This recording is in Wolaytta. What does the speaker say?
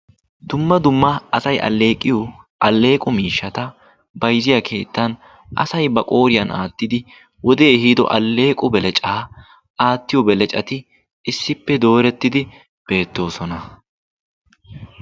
Dumma dumma asay alleeqiyoo alleqqo miishshata bayzziyaa keettan asay ba qqoriyaan aattidi wodee ehiido alleeqo beleccaa aatiyoo beleccati issippe doorettidi beettoosona.